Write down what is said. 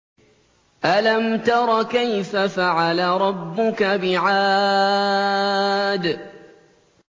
أَلَمْ تَرَ كَيْفَ فَعَلَ رَبُّكَ بِعَادٍ